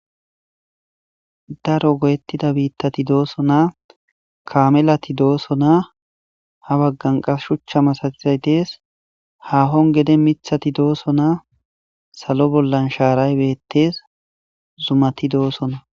Daro goyettida biittati dooso naa kaamelati dooso naa ha baggan qas shuchcha masagizay dees haahon gede mithati dooso naa salo bollan shaaray beettes zumati doosona.